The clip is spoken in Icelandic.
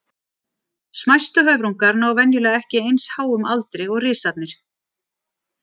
Smæstu höfrungar ná venjulega ekki eins háum aldri og risarnir.